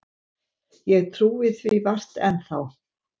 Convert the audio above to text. Ég trúi því vart enn þá.